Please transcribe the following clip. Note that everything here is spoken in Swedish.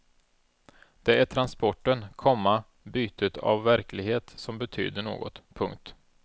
Det är transporten, komma bytet av verklighet som betyder något. punkt